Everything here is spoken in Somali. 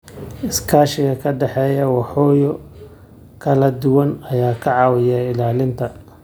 Iskaashiga ka dhexeeya waaxyo kala duwan ayaa ka caawiya ilaalinta.